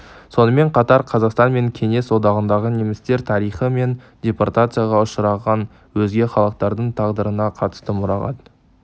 сонымен қатар қазақстан мен кеңес одағындағы немістер тарихы мен депортацияға ұшыраған өзге халықтардың тағдырына қатысты мұрағат